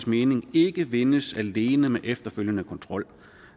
mening ikke vindes alene med efterfølgende kontrol